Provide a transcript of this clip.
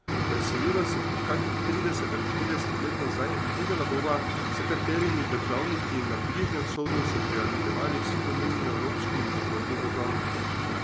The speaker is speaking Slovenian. Preseliva se kakih trideset ali štirideset let nazaj in videla bova, s katerimi državniki na Bližnjem vzhodu so prijateljevali vsi pomembni evropski in zahodni državniki.